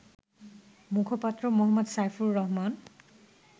মুখপাত্র মো. সাইফুর রহমান